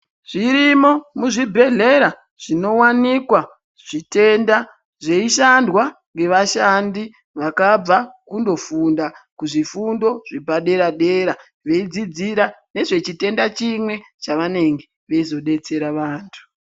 Zvirimo mu zvibhehlera zvinowanikwa zvitenda zveyi shandwa nge vashandi vakabva kundo funda ku zvifundo zvepa dera dera vei dzidzira nezve chitenda chimwe chavanenge veizo detsera vantu.